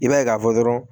I b'a ye k'a fɔ dɔrɔn